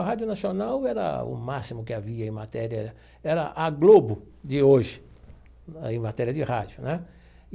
A Rádio Nacional era o máximo que havia em matéria... Era a Globo de hoje aí em matéria de rádio, né?